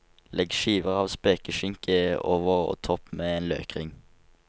Legg skiver av spekeskinke over og topp med en løkring.